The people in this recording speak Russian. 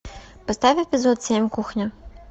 поставь эпизод семь кухня